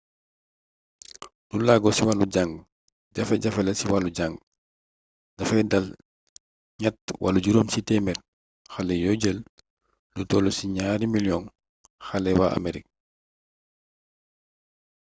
du laago ci wàll njàng jafe-jafe la ci wall jàng dafay dal ñett wala juróom c téemeer xale yoo jël lu toll ci 2 miliyong xale waa amerik